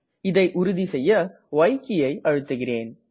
இதை உறுதி செய்ய ய் கீயை அழுத்துகிறேன்